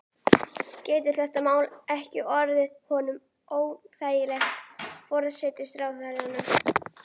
Getur þetta mál ekki orðið honum óþægilegt, forsætisráðherranum?